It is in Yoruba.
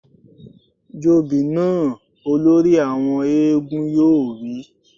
Jobì náà! Olórí àwọn éégún yóò wí